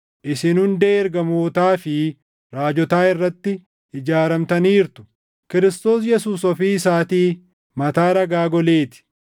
isin hundee ergamootaa fi raajotaa irratti ijaaramtaniirtu; Kiristoos Yesuus ofii isaatii mataa dhagaa golee ti.